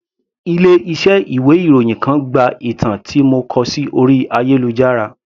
Ilé iṣẹ́ ìwé ìròyìn kan gba ìtàn tí mo kọ sí orí ayélujára.